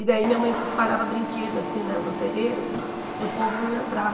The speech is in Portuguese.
E daí minha mãe espalhava brinquedo assim né no terreiro para o povo não entrar.